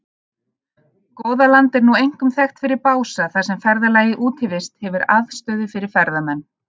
Goðaland er nú einkum þekkt fyrir Bása þar sem ferðafélagið Útivist hefur aðstöðu fyrir ferðamenn.